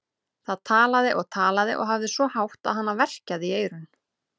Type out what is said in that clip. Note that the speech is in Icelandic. Það talaði og talaði og hafði svo hátt að hana verkjaði í eyrun.